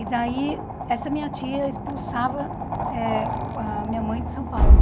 E daí, essa minha tia expulsava eh a minha mãe de São Paulo.